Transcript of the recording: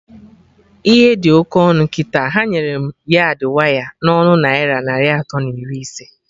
Ihe dị oké ọnụ kịta, ha nyere m yardị waya na ọnụ naira narị atọ na iri ise